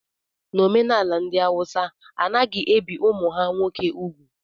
N'omenala ndị Awụsa a naghị ebi ụmụ ha nwoke úgwù